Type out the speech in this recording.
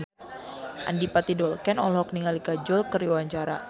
Adipati Dolken olohok ningali Kajol keur diwawancara